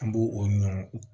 An b'o o ɲɔ